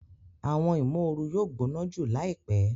Awọn imooru yóò gbóná jù laipe